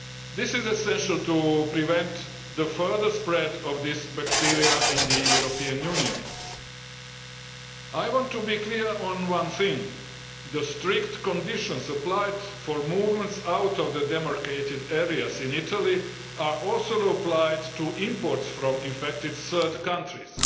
This is essential to prevent the further spread of this bacterium in the European Union. I want to be clear on one thing the strict conditions applied on movements out of the demarcated areas in Italy are also applied to imports from affected third countries.